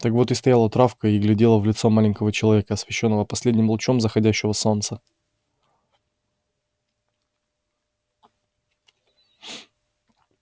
так вот и стояла травка и глядела в лицо маленького человека освещённого последним лучом заходящего солнца